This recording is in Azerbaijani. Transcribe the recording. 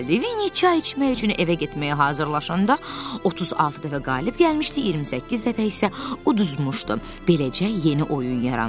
Vinni çay içmək üçün evə getməyə hazırlaşanda 36 dəfə qalib gəlmişdi, 28 dəfə isə uduzmuşdu, beləcə yeni oyun yarandı.